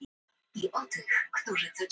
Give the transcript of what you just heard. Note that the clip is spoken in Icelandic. Litabók og hálfkláraðir litir.